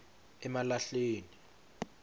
emalahleni